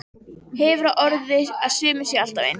Hefur á orði að sumir séu alltaf eins.